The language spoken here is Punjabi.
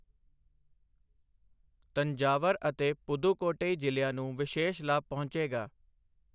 ਤੰਜਾਵਰ ਅਤੇ ਪੁਦੁਕੋਟਈ ਜ਼ਿਲ੍ਹਿਆਂ ਨੂੰ ਵਿਸ਼ੇਸ਼ ਲਾਭ ਪਹੁੰਚੇਗਾ।